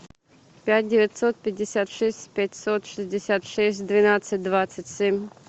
пять девятьсот пятьдесят шесть пятьсот шестьдесят шесть двенадцать двадцать семь